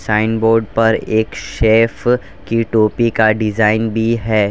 Sign board पर एक chef की टोपी का डिजाइन भी है।